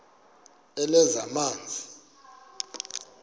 lezamanzi